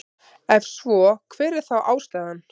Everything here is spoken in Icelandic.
Ef svo er hver er þá ástæðan?